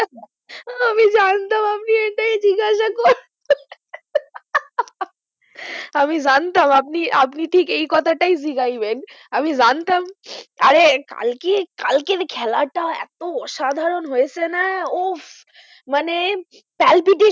আমি জানতাম আপনি আপনি ঠিক এই কথাটাই জাগাইবেন, আমি জানতাম আরে কালকে কালকের খেলাটা এতো অসাধারণ হয়েছে না উহ মানে palpitation